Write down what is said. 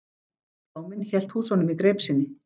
Bláminn hélt húsunum í greip sinni.